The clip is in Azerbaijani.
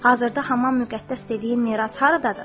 Hazırda Haman müqəddəs dediyi miras haradadır?